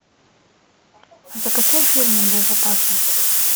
закачай фильм безопасность